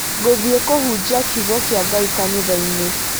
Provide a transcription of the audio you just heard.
Ngũthiĩ kũhunjia kiugo kĩa Ngai kanithainĩ